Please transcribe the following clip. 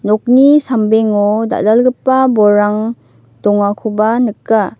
nokni sambengo dal·dalgipa bolrang dongakoba nika.